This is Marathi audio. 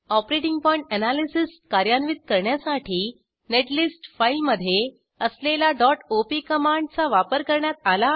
ऑपरेटिंग पॉइंट एनालिसिस कार्यान्वित करण्यासाठी नेटलिस्ट फाईलमध्ये असलेला op कमांड चा वापर करण्यात आला आहे